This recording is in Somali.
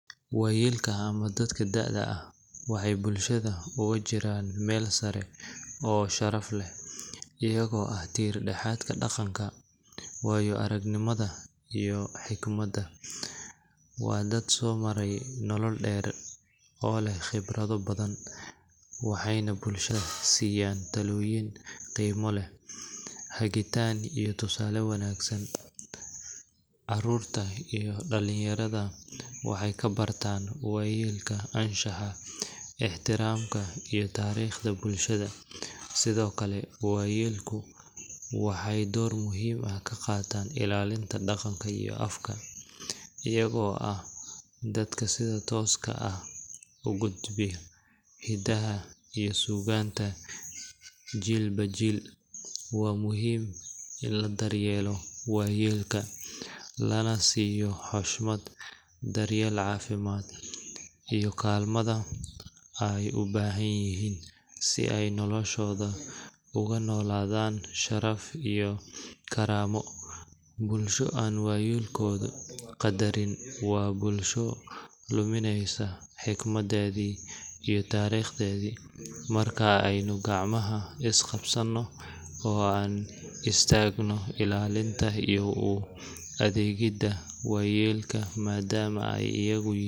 Wayelka ama dadka da'ada ah waxay bulshada oga jiraan Mel saare oo sharaf leh ayago ah tir dhaxadka dhaqanka wayo arag nimada iyo xigmada waa dad soo maray nolol dheer oo leh qibrado badan aaxayna bulshada siiyan taloyiin qeyma leh hagitaan iyo tusale wanaagsan, caarurta iyo dhalin yarada waxay kabartan wayelka anshaxa ,ixtiramka iyo tariqda bulshada sidokale wayalku waxay door muhiim ka qataan ilalintu dhaqanka iyo afka ayago ah dadka sida tooska ah ugudbi hidaha iyo suganta, jiilba jil waa muhiim ini ladaryelo wayelka lana siyo xushmad, daryel caafimad iyo kaalmada ay ubahan yihiin si ay noloshada oga nolodaan sharaf iyo karamo, bulsho an wayelkada qadarinin wa bulsho lumineyso xigmadeedi iyo tariqdeedi marka aynu gacmaha is qabsano oo anu u istagno illalinta iyo u adeeggida wayelka madama ay ayagu yihiin horumarka.